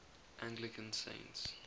anglican saints